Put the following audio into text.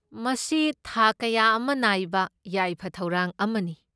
ꯃꯁꯤ ꯊꯥꯛ ꯀꯌꯥ ꯑꯃ ꯅꯥꯏꯕ ꯌꯥꯏꯐ ꯊꯧꯔꯥꯡ ꯑꯃꯅꯤ꯫